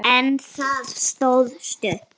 En það stóð stutt.